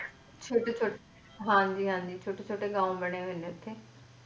ਛੋਟੇ ਛੋਟੇ ਹਾਂ ਜੀ ਹਾਂ ਜੀ ਛੋਟੇ ਛੋਟੇ ਗਾਓਂ ਬਣੇ ਹੋਏ ਨੇ ਉੱਥੇ